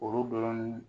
Olu dɔrɔn